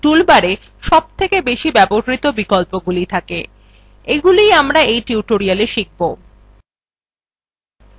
toolbarswe সবথেকে বেশি ব্যবহৃত বিকল্পগুলি থাকে এগুলি আমরা এই tutorialswe শিখব